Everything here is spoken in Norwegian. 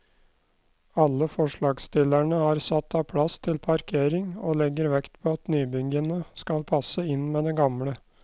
Alle forslagsstillerne har satt av plass til parkering, og legger vekt på at nybyggene skal passe inn med det gamle.